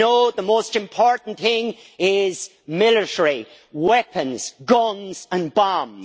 But no, the most important thing is military weapons, guns and bombs.